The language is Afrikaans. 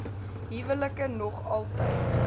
huwelike nog altyd